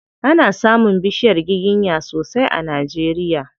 Ana samun bishiyar giginya sosai a Najeria.